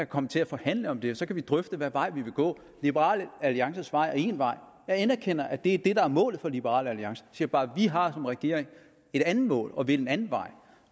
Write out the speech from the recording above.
komme til at forhandle om det og så kan vi drøfte hvad vej vi vil gå liberal alliances vej er en vej jeg anerkender at det er det der er målet for liberal alliance siger bare at vi har som regering et andet mål og vil en anden vej